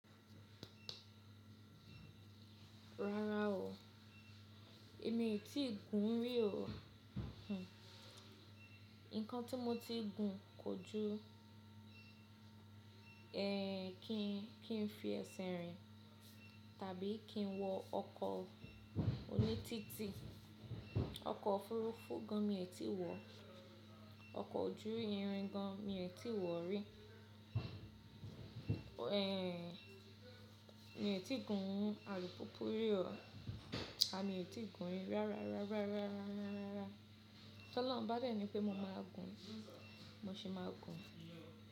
Rárá o, èmi otí gùn rí o. Hmm. Nǹkan tí mo ti gùn kò ju ẹ́ kí n fi ẹsẹ̀ rìn tàbí kí n wọ ọkọ̀ oní títì. Ọkọ̀ òfurufú gan mi ò tí wọ̀, ọkọ̀ ojú irin gan mi ò tí wọ̀ rí. Ehn, mi ò tí gùn alùpùpù rí o. A mi ò tí gùn rí rárá. Toloun bá dà ní pé mo máa gùn mo sì máa gùn.